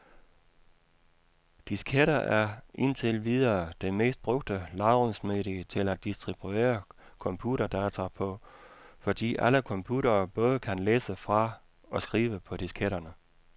Disketter er, indtil videre, det mest brugte lagringsmedie til at distribuere computerdata på, fordi alle computere både kan læse fra og skrive på disketterne.